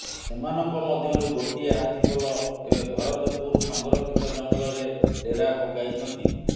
ସେମାନଙ୍କ ମଧ୍ୟରୁ ଗୋଟିଏ ହାତୀ ପଲ ଏବେ ଭରତପୁର ସଂରକ୍ଷିତ ଜଙ୍ଗଲରେ ଡେରା ପକାଇଛନ୍ତି